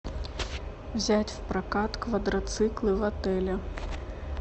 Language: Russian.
взять в прокат квадроциклы в отеле